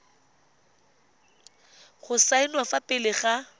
go saenwa fa pele ga